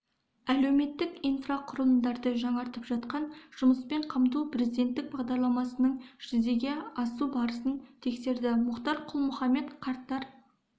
әлеуметтік инфрақұрылымдарды жаңартып жатқан жұмыспен қамту президенттік бағдарламасының жүзеге асу барысын тексерді мұхтар құл-мұхаммед қарттар